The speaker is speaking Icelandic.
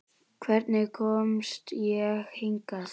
Hvernig komst ég hingað?